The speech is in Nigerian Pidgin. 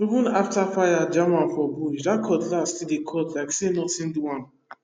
even after fire jam am for bush that cutlass still dey cut like say nothing do am